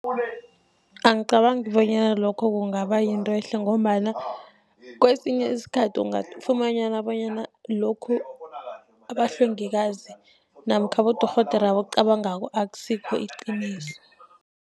Angicabangi bonyana lokho kungaba yinto ehle, ngombana kesinye isikhathi ungafumana bonyana lokhu abahlengikazi namkha abodorhodere abakucabangako akusikho iqiniso.